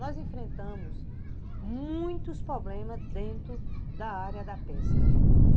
Nós enfrentamos muitos problemas dentro da área da pesca.